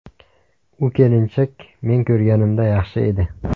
U kelinchak men ko‘rganimda yaxshi edi.